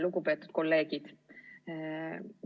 Lugupeetud kolleegid!